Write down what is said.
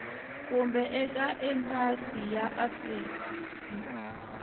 kumbe eka embasi ya afrika